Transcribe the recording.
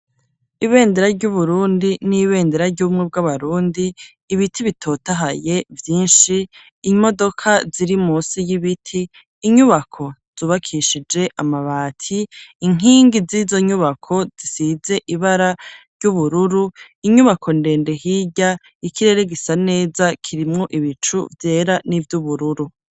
Ibendera ry'Uburundi n'ibendera ry'ubumwe bw'abarundi, ibiti bitotahaye vyinshi, imodoka ziri munsi y'ibiti, inyubako zubakishije amabati, inkingi z'izo nyubako zisize ibara ry'ubururu, inyubako ndende hirya, ikirere gisa neza, kirimwo ibicu vyera n'ivy'ubururu.